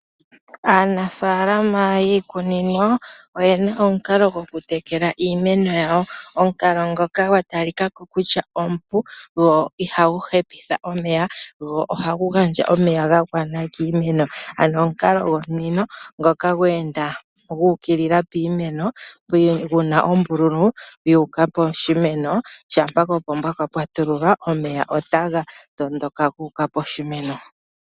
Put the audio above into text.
Aanafaalama yiikunino oye na omukalo gokutekela iimeno yawo omukalo ngoka gwa talika ko kutya omupu, gwo ihagu hepitha omeya, gwo ohagu gandja omeya ga gwana kiimeno. Ano omukalo gwomunino ngoka gwe enda gu ukilila piimeno, gu na ombululu yu uka poshimeno, shampa kopomba kwa patululwa go omeya otaga tondoka gu uka poshimeno.